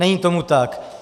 Není tomu tak.